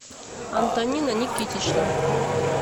антонина никитична